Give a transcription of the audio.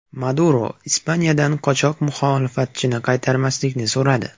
Maduro Ispaniyadan qochoq muxolifatchini qaytarmaslikni so‘radi.